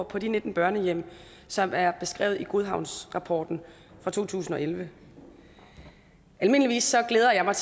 på de nitten børnehjem som er beskrevet i godhavnsrapporten fra to tusind og elleve almindeligvis glæder jeg mig